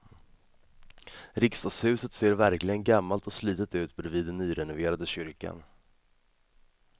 Riksdagshuset ser verkligen gammalt och slitet ut bredvid den nyrenoverade kyrkan.